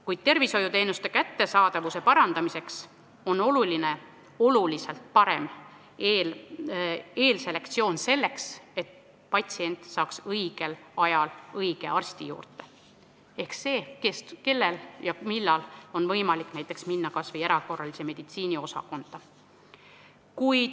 Kuid tervishoiuteenuste kättesaadavuse parandamiseks on oluline oluliselt parem eelselektsioon, selleks et patsient saaks õigel ajal õige arsti juurde, ehk see, kellel ja millal on võimalik näiteks minna kas või erakorralise meditsiini osakonda.